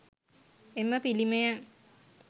එම පිළිමය